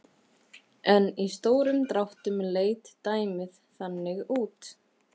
En í stórum dráttum leit dæmið þannig út